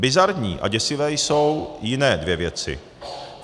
Bizarní a děsivé jsou jiné dvě věci.